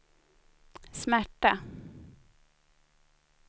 smärta